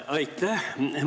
Aitäh!